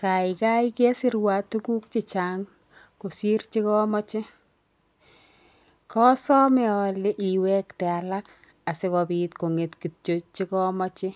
Kaikai kesirwa tuguk chechang kosir che komoche, kosome ale iwekte alak asikobit konget kityo che komoche,